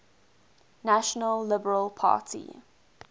national liberal party